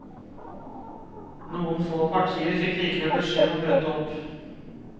Noen få partier fikk likevel beskjed om å møte opp.